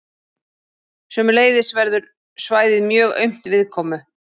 Sömuleiðis verður svæðið mjög aumt viðkomu.